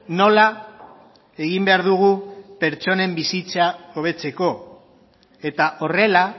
nola egin behar dugu pertsonen bizitza hobetzeko eta horrela